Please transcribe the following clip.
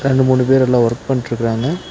இரண்டு மூணு பேருலா ஒர்க் பண்ட்டுருக்குறாங்க.